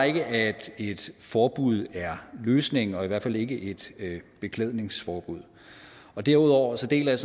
ikke at et forbud er løsningen og i hvert fald ikke et beklædningsforbud derudover deler jeg